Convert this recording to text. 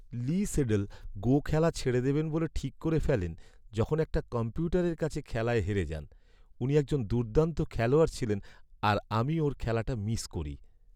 লি Sedol "Go" খেলা ছেড়ে দেবেন ঠিক করে ফেলেন যখন একটা কম্পিউটারের কাছে খেলায় হেরে যান। উনি একজন দুর্দান্ত খেলোয়াড় ছিলেন আর আমি ওঁর খেলাটা মিস করি।